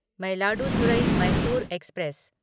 Mayiladuthurai Mysore express